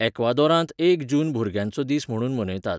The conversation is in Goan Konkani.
यॅक्वादोरांत एक जून भुरग्यांचो दीस म्हणून मनयतात.